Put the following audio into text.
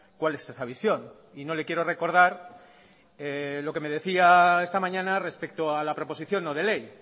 cuál es esa visión y no le quiero recordar lo que me decía esta mañana respecto a la proposición no de ley